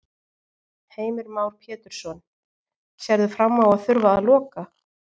Heimir Már Pétursson: Sérðu fram á að þurfa að loka?